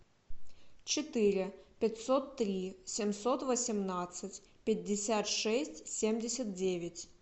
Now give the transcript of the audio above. четыре пятьсот три семьсот восемнадцать пятьдесят шесть семьдесят девять